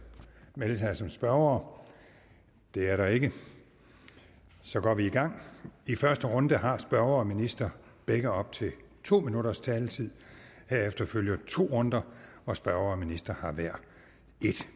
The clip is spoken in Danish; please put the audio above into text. melde sig som spørgere det er der ikke og så går vi i gang i første runde har spørger og minister begge op til to minutters taletid herefter følger to runder hvor spørger og minister har hver en